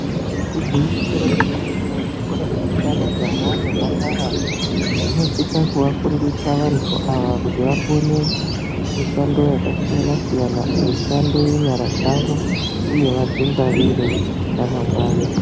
Igwinyiso remene-mene, zvikora zvinoenda majaha nemhandara zvinosisa kuvafundisa vantu ava kuti vakone mishando yakasiyana -siyana mishando yenyara dzavo uye vadzingwarire ramangwani.